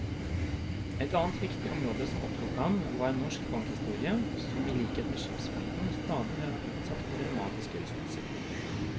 Et annet viktig område som opptok ham, var norsk bankhistorie, som i likhet med skipsfarten stadig har vært utsatt for dramatiske rystelser.